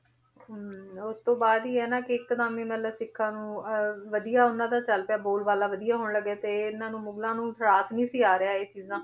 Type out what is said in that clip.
ਹਮ ਉਸ ਤੋਂ ਬਾਅਦ ਹੀ ਹੈ ਨਾ ਕਿ ਇੱਕਦਮ ਹੀ ਮਤਲਬ ਸਿੱਖਾਂ ਨੂੰ ਅਹ ਵਧੀਆ ਉਹਨਾਂ ਦਾ ਚੱਲ ਪਿਆ, ਬੋਲ ਬਾਲਾ ਵਧੀਆ ਹੋਣ ਲੱਗਿਆ ਤੇ ਇਹਨਾਂ ਨੂੰ ਮੁਗਲਾਂ ਨੂੰ ਰਾਸ ਨੀ ਸੀ ਆ ਰਿਹਾ ਇਹ ਚੀਜ਼ਾਂ